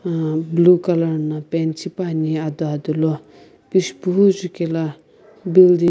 uhm blue color na paint shipuani adodola pishupuo jukela building--